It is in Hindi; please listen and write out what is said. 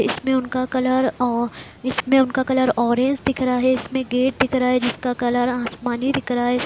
इसमें उनका कलर ओ- इसमें उनका कलर ऑरेंज दिख रहा है इसमें गेट दिख रहा है जिसका कलर आसमानी दिख रहा है।